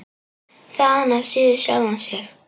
Þaðan af síður sjálfan sig.